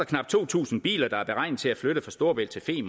knap to tusind biler der er beregnet til at flytte fra storebælt til